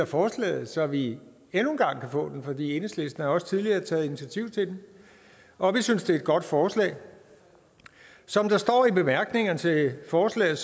forslaget så vi endnu en gang kan få den for enhedslisten har jo også tidligere taget initiativ til den og vi synes det er et godt forslag som der står i bemærkningerne til forslaget